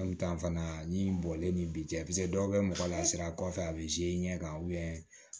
An bi taa fana ni bɔlen ni bi cɛ dɔw bɛ mɔgɔ lasira kɔfɛ a bɛ ɲɛ ka